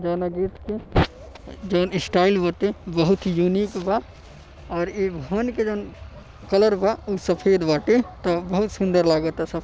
जौऊना gate के जो इन स्टाइल बाटे बहुत ही यूनीक बा ओर ई भवन के जौन कलर बा ऊ सफेद बाटे त बहुत सुंदर लागता सब।